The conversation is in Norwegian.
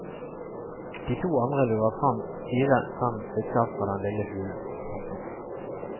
De to andre lurer fram fire fem stykker fra den lille hulen. punktum